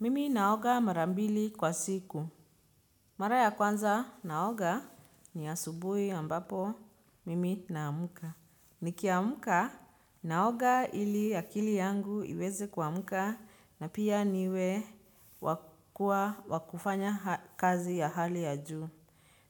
Mimi naoga marambili kwa siku. Mara ya kwanza naoga ni asubuhi ambapo mimi na amka. Nikiamka, naoga ili akili yangu iweze kuamka na pia wa kufanya kazi ya hali ya juu.